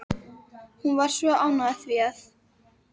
Hún var svo ánægð af því að